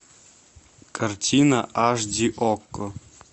картина аш ди окко